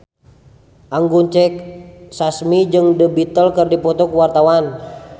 Anggun C. Sasmi jeung The Beatles keur dipoto ku wartawan